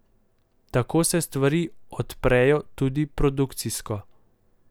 Tako se stvari odprejo tudi produkcijsko.